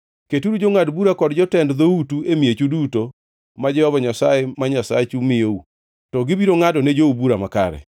Keturu jongʼad bura kod jotend dhoutu e miechu duto ma Jehova Nyasaye ma Nyasachu miyou, to gibiro ngʼado ne jou bura makare.